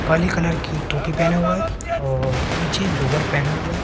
काली colour की टोपी पहना हुआ है और नीचे लोअर पहना हुआ है।